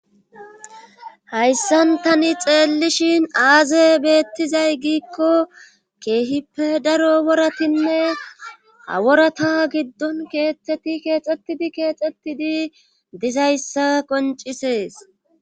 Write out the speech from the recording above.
hayssan tani xeellishin aaze beettizay giikko keehippe daro woratinne haworata giddon keexxeti keexxettidi keexxettidi dizayssa qoncisees